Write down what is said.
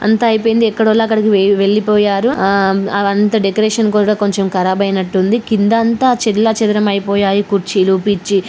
అంత అయిపోయింది ఎక్కడోలు అక్కడకి వెళ్లిపోయారు ఆ అవంతా డెకరేషన్ కూడా కొంచెం కరాబ్ అయినట్టుంది కిందంతా చెల్లా చెదరం అయిపోయాయి కుర్చీలు